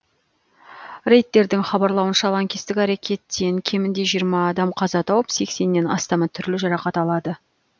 рейтердің хабарлауынша лаңкестік әрекеттен кемінде жиырма адам қаза тауып сексеннен астамы түрлі жарақат алады